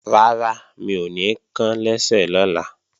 Rárá, mi ò ní kán lẹ́sẹ̀ lọ́la